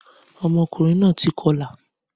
Ọmọkùnrin náà ti kọlà